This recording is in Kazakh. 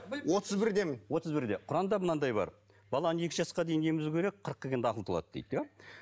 отыз бірдемін отыз бірде құранда мынадай бар баланы екі жасқа дейін емізу керек қырыққа келгенде ақылы толады дейді иә